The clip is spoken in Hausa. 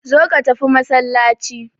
Zo ka tafi masallaci.